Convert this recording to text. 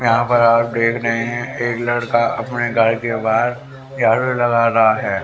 यहां पर आप देख रहे हैं एक लड़का अपने घर के बाहर झाड़ू लगा रहा है।